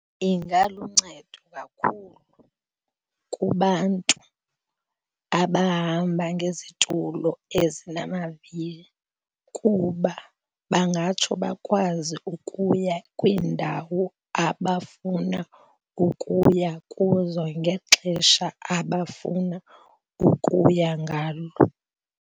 Ingaluncedo kakhulu kubantu abahamba ngezitulo ezinamavili kuba bangatsho bakwazi ukuya kwiindawo abafuna ukuya kuzo ngexesha abafuna ukuya ngalo.